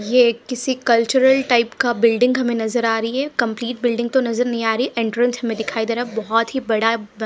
ये एक किसी कल्चरल टाइप का बिल्डिंग हमें नजर आ रही है कंप्लीट बिल्डिंग तो नजर नहीं आ रही एंट्रेंस हमें दिखाई दे रहा है बहुत ही बड़ा द --